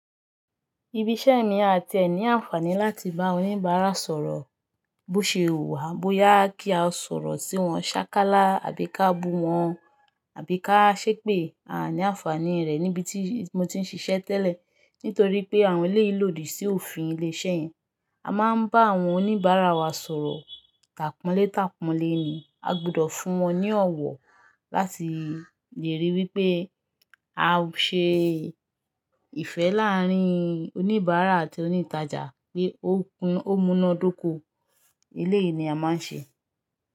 Ibi iṣẹ́ mi a tí ní àǹfààní láti bá àwọn oníbàárà sọ̀rọ̀ bó ṣe wuwà, bóyá kí a sọ̀rọ̀ sí wọn sákálá àbí ká bú wọn, àbí ká ṣépè, a ní àǹfààní rẹ̀ níbi tí mo ti ń ṣiṣẹ́ tẹ́lẹ̀ nítorí pé àwọn ilé yìí lòdì sí òfin ilé-iṣẹ́ yẹn. A máa ń bá àwọn oníbàárà wa sọ̀rọ̀, tàpanlé tàpanlé ni. A gbọ́dọ̀ fún wọn ní ọ̀wọ̀ láti lè ríi wí pé a ṣe ìfẹ́ láàárín oníbàárà àti onítàjà pé ó kun ó múná dóko. Ilé yìí ni a máa ń ṣe.